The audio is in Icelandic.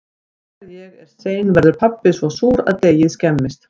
Þegar ég er sein verður pabbi svo súr að deigið skemmist.